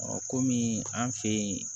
kɔmi an fɛ yen